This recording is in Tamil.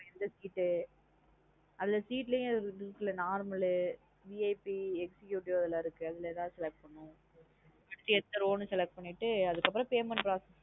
எந்த seat உ அதா seat ளையும் normal VIP executive அதுல இருக்கு அதுலா எதாவது select பணன்னும் எந்த row னு select பண்ணிட்டு அதுகாப்புறம் payment process.